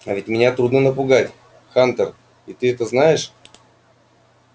а ведь меня трудно напугать хантер и ты это знаешь